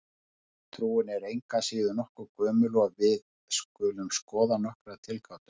Trúin er engu að síður nokkuð gömul og við skulum skoða nokkrar tilgátur.